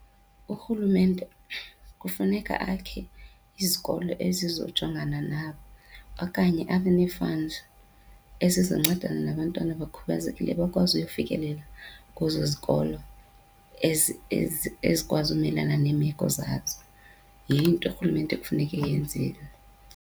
Urhulumente kufuneka akhe izikolo ezizojongana nabo okanye abe nee-funds ezizoncedana nabantwana abakhubazekileyo bakwazi ukuyofikelela kwezo zikolo ezikwazi umelana neemeko zazo. Yiyo into urhulumente ekufuneke eyenzile.